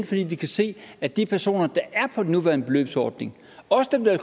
fordi vi kan se at de personer der er nuværende beløbsordning også dem der